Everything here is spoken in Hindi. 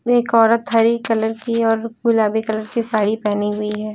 एक औरत हरी कलर की और गुलाबी कलर की साड़ी पहनी हुई है।